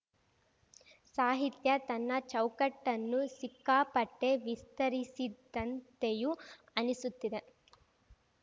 ಸಾಹಿತ್ಯ ತನ್ನ ಚೌಕಟ್ಟನ್ನು ಸಿಕ್ಕಾಪಟ್ಟೆವಿಸ್ತರಿಸಿದಂತೆಯೂ ಅನಿಸುತ್ತಿದೆ